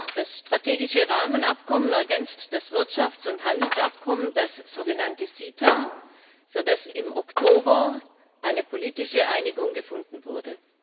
Das strategische Rahmenabkommen ergänzt das Wirtschafts und Handelsabkommen, das sogenannte CETA, für das im Oktober eine politische Einigung gefunden wurde.